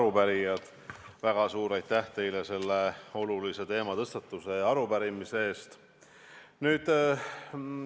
Head arupärijad, väga suur aitäh teile selle olulise teema tõstatuse ja arupärimise eest!